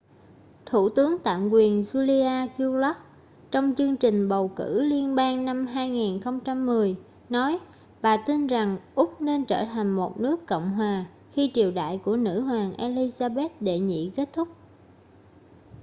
thủ tướng tạm quyền julia gillard trong chương trình bầu cử liên bang năm 2010 nói bà tin rằng úc nên trở thành một nước cộng hòa khi triều đại của nữ hoàng elizabeth đệ nhị kết thúc